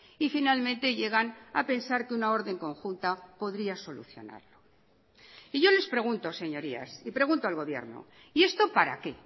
y finalmente llegan a pensar que una orden conjunta podría solucionarlo y yo les pregunto señorías y pregunto al gobierno y esto para qué